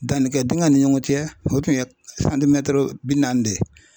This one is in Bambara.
Dannikɛ dingɛ ɲɔgɔn cɛ o tun ye bi naani de ye.